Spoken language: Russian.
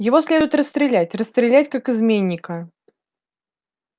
его следует расстрелять расстрелять как изменника